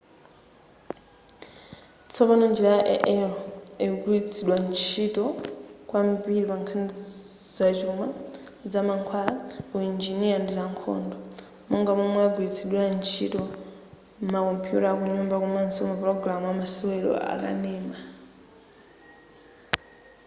tsopano njira ya ai ikugwiritsidwa ntchito kwambiri pankhani zachuma zamankhwala uinjiniya ndi zankhondo monga momwe yagwiritsidwira ntchito m'makompuyuta akunyumba komaso mapulogalamu amasewero akanema